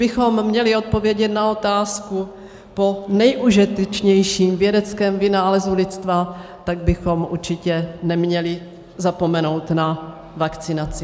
Kdybychom měli odpovědět na otázku po nejužitečnějším vědeckém vynálezu lidstva, tak bychom určitě neměli zapomenout na vakcinaci.